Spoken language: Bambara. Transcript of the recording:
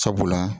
Sabula